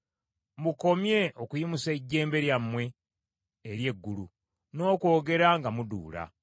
Mukomye okuyimusa ejjembe lyammwe eri eggulu n’okwogera nga muduula.